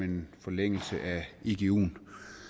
en forlængelse af iguen